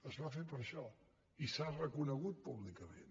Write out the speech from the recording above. es va fer per això i s’ha reconegut públicament